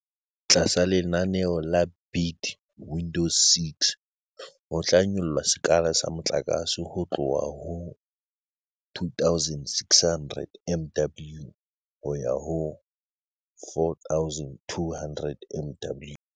Tlasa lenaneo la Bid Window 6 ho tla nyollwa sekala sa motlakase ho tloha ho 2 600 MW ho ya ho 4 200 MW.